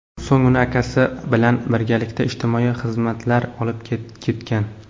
So‘ng uni akasi bilan birgalikda ijtimoiy xizmatlar olib ketgan.